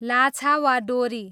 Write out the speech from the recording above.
लाछा वा डोरी